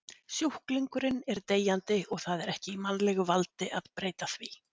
Sjúklingurinn er deyjandi og það er ekki í mannlegu valdi að breyta því.